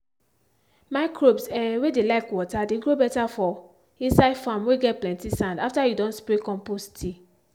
microbes um whey dey like water dey grow better for inside farm whey get plenty sand after you don spray compost tea.